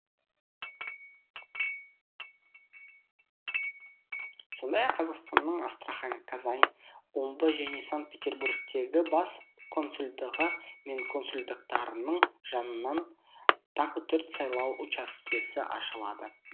сондай ақ қазақстанның астрахань қазан омбы және санк петербургтегі бас консулдығы мен консулдықтарының жанынан тағы төрт сайлау учаскесі ашылады